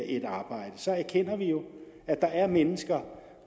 et arbejde så erkender vi jo at der er mennesker